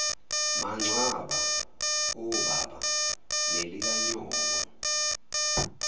mangcwaba obaba nelikanyoko